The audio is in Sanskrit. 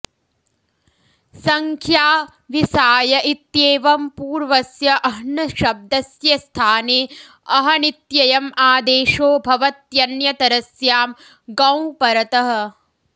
सङ्ख्या वि साय इत्येवंपूर्वस्य अह्नशब्दस्य स्थाने अहनित्ययम् आदेशो भवत्यन्यतरस्यां ङौ परतः